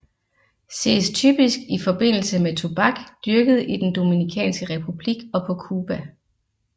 Ses typisk i forbindelse med tobak dyrket i den Dominikanske Republik og på Cuba